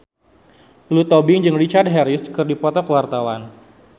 Lulu Tobing jeung Richard Harris keur dipoto ku wartawan